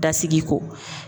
Dasigi ko